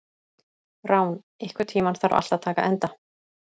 Rán, einhvern tímann þarf allt að taka enda.